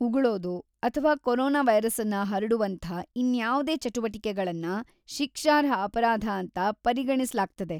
ಉಗುಳೋದು ಅಥ್ವಾ ಕೊರೊನಾ ವೈರಸ್ಸನ್ನ ಹರಡುವಂಥಾ ಇನ್ಯಾವ್ದೇ ಚಟುವಟಿಕೆಗಳನ್ನ ಶಿಕ್ಷಾರ್ಹ ಅಪರಾಧ ಅಂತ ಪರಿಗಣಿಸಲಾಗ್ತದೆ.